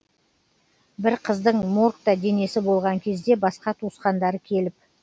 бір қыздың моргта денесі болған кезде басқа тауысқандары келіп